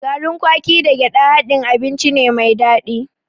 Garin kwaki da gyaɗa haɗin abinci ne mai daɗi.